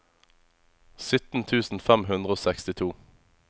sytten tusen fem hundre og sekstito